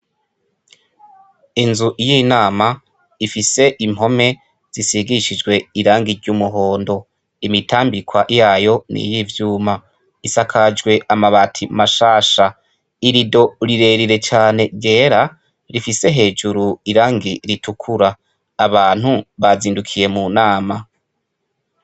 Inzu y'inama ifise impome zisigishijwe irangi ry'umuhondo, imitambikwa yayo n'iyivyuma, isakajwe amabati mashasha, irido rirerire cane ryera rifise hejuru irangi ritukura, abantu bazindukiye mu nama.